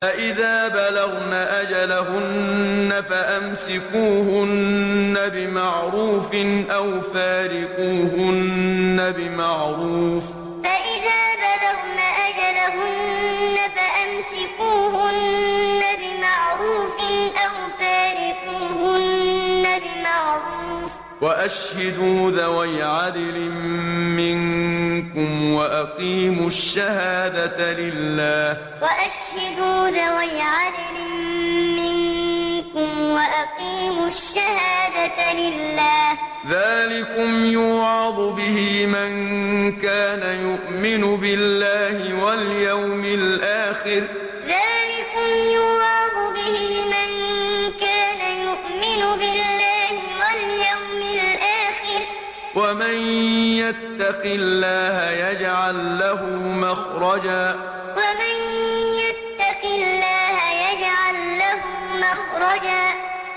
فَإِذَا بَلَغْنَ أَجَلَهُنَّ فَأَمْسِكُوهُنَّ بِمَعْرُوفٍ أَوْ فَارِقُوهُنَّ بِمَعْرُوفٍ وَأَشْهِدُوا ذَوَيْ عَدْلٍ مِّنكُمْ وَأَقِيمُوا الشَّهَادَةَ لِلَّهِ ۚ ذَٰلِكُمْ يُوعَظُ بِهِ مَن كَانَ يُؤْمِنُ بِاللَّهِ وَالْيَوْمِ الْآخِرِ ۚ وَمَن يَتَّقِ اللَّهَ يَجْعَل لَّهُ مَخْرَجًا فَإِذَا بَلَغْنَ أَجَلَهُنَّ فَأَمْسِكُوهُنَّ بِمَعْرُوفٍ أَوْ فَارِقُوهُنَّ بِمَعْرُوفٍ وَأَشْهِدُوا ذَوَيْ عَدْلٍ مِّنكُمْ وَأَقِيمُوا الشَّهَادَةَ لِلَّهِ ۚ ذَٰلِكُمْ يُوعَظُ بِهِ مَن كَانَ يُؤْمِنُ بِاللَّهِ وَالْيَوْمِ الْآخِرِ ۚ وَمَن يَتَّقِ اللَّهَ يَجْعَل لَّهُ مَخْرَجًا